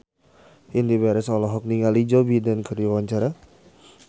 Indy Barens olohok ningali Joe Biden keur diwawancara